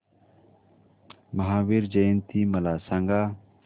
महावीर जयंती मला सांगा